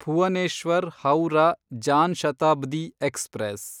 Bhuvneshwar Howrah Jan Shatabdi express